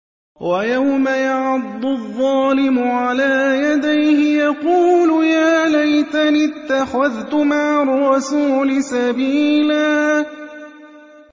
وَيَوْمَ يَعَضُّ الظَّالِمُ عَلَىٰ يَدَيْهِ يَقُولُ يَا لَيْتَنِي اتَّخَذْتُ مَعَ الرَّسُولِ سَبِيلًا